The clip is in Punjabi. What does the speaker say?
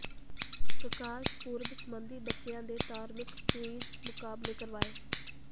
ਪ੍ਰਕਾਸ਼ ਪੁਰਬ ਸਬੰਧੀ ਬੱਚਿਆਂ ਦੇ ਧਾਰਮਿਕ ਕੁਇਜ਼ ਮੁਕਾਬਲੇ ਕਰਵਾਏ